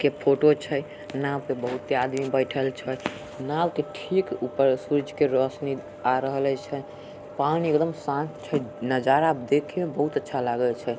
के फोटो छै। नाव पे बोहोत ही आदमी बैठल छै। नाव के ठीक ऊपर सूरज के रोशनी आ रहले छै। पानी एकदम शांत छै। नजारा देखे मे बहुत अच्छा लागे छै।